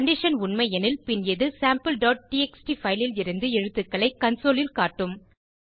condition உண்மை எனில் பின் இது sampleடிஎக்ஸ்டி பைல் லிருந்து எழுத்துக்களை கன்சோல் ல் காட்டும்